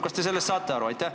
Kas te sellest saate aru?